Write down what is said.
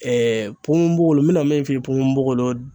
ponponpogolon n bɛna min f'i ye ponponpogolon